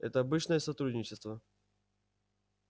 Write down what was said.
это обычное сотрудничество